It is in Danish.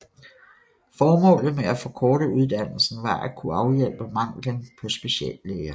Formålet med at forkorte uddannelsen var at kunne afhjælpe manglen på speciallæger